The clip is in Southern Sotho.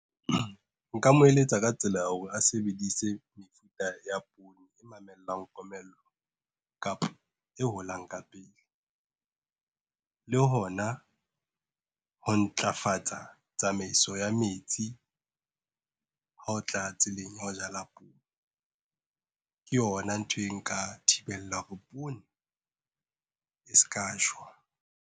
Nka mo eletsa ka tsela ya hore a sebedise mefuta ya poone e mamellang komello. Kapa e holang ka pele, le hona ho ntlafatsa tsamaiso ya metsi, ha o tla tseleng ya ho jala poone, ke yona ntho e nka thibelang hore poone, e ska shwa.